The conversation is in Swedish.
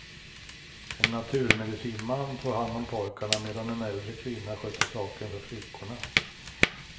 En naturmedicinman tog hand om pojkarna, medan en äldre kvinna skötte saken för flickorna.